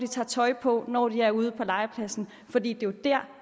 tager tøj på når de er ude på legepladsen for det er jo der